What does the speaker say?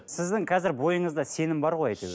сіздің қазір бойыңызда сенім бар ғой әйтеуір